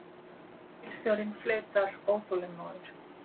Leigubílstjórinn flautar óþolinmóður.